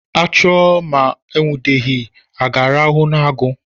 A chụọ ma e nwudeghị, a ga-arahụ n'agu?